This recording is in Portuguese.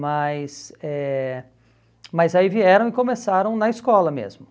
Mas eh mas aí vieram e começaram na escola mesmo.